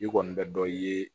I kɔni bɛ dɔ ye